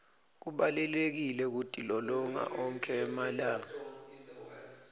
kubalulekile kutilolonga onkhe emalanga